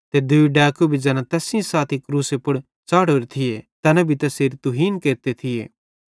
ते दूई डैकू भी ज़ैना तैस सेइं साथी क्रूसे पुड़ च़ाढ़ोरे थिये तैना भी तैसेरी तुहीन केरते थिये